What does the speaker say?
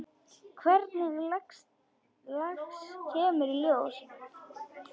Hvers lags kemur í ljós.